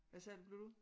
Hvad sagde du blev du?